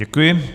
Děkuji.